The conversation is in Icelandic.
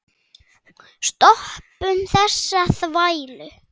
Stoppum þessa þvælu.